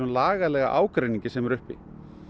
lagalega ágreiningi sem er uppi